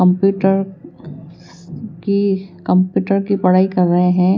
Computer की computer की पढ़ाई कर रहे हैं।